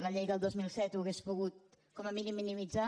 la llei del dos mil set ho hauria pogut com a mínim minimitzar